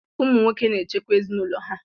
Ụmụ nwoke na-echekwa ezinụlọ ha.